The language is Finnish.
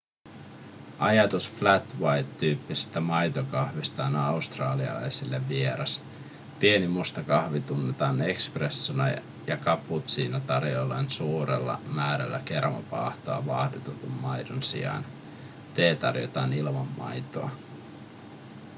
ajatus flat white tyyppisestä maitokahvista on australialaisille vieras pieni musta kahvi tunnetaan espressona ja cappuccino tarjotaan suurella määrällä kermavaahtoa vaahdotetun maidon sijaan tee tarjotaan ilman maitoa